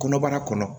Kɔnɔbara kɔnɔ